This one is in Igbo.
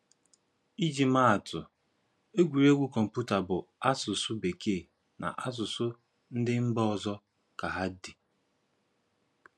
Ịji màa àtụ̣, egwuregwu kọ̀mpútà bụ́ n’asụ̀sụ́ Békèe na n’asụ̀sụ́ ndị mba ọ̀zọ̀ ka hà dị.